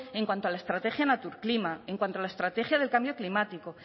en cuanto a la estrategia naturclima en cuanto a la estrategia del cambio climático